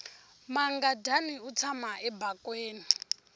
mangadyani wu tshama ebakweni